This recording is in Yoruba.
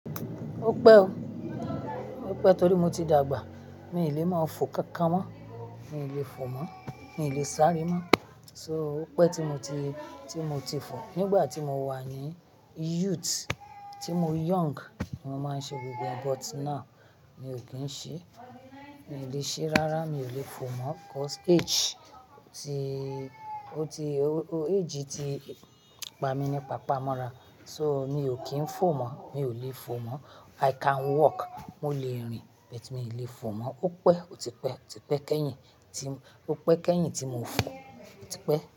Ó pẹ́ o, ó pẹ́ torí mo ti dàgbà. Mi lè máa fò kankan mọ́, mi ò lè fò mọ́, mi lè sáré mọ́. So ó pẹ́ tí mo ti, tí mo ti fò. Nígbà tí mo wà ní youth, tí mo young, mo máa ń ṣe gbogbo yẹn, but now mi ò kí ń ṣe. Mi ò lè ṣe rárá, mi ò lè fò mọ́, 'cause age ti, ó ti, age ti pa mi ní pa pa mọ́ra, so mi ò kí ń fò mọ́, mi ò lè fò mọ́. I can walk, mo lè rìn, but mi ò lè fò mọ́. Ó pẹ́, ó ti pẹ́, ó ti pẹ́ kẹ́yìn, tí, ó pẹ́ kẹ́yìn tí mo fò, ó ti pẹ́